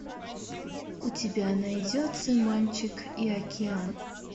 у тебя найдется мальчик и океан